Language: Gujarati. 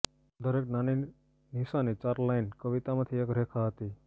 દરેક નાની નિશાની ચાર લાઇન કવિતામાંથી એક રેખા હતી